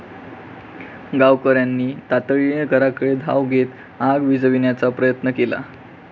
गावकऱ्यांनी तातडीने घराकडे धाव घेत आग विझविण्याचा प्रयत्न केला.